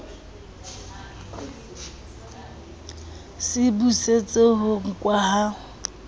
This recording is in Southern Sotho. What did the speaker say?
se busetseng ho nkwa ha